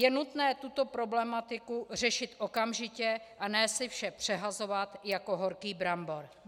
Je nutné tuto problematiku řešit okamžitě, a ne si vše přehazovat jako horký brambor.